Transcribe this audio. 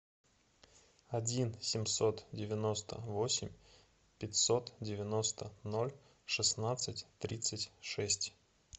один семьсот девяносто восемь пятьсот девяносто ноль шестнадцать тридцать шесть